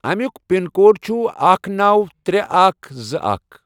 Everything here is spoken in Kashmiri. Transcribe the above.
امیُک پِن کوڑ چھ اکھ، نوَ، ترے، اکھَ، زٕ، اکھ.